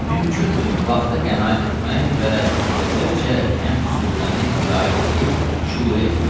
Mümkündür vaxta qənaət etmək və müxtəsərcə həmd surəni qiraət edib şüru etmək.